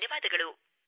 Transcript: ಧನ್ಯವಾದಗಳು